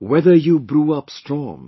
Whether you brew up storms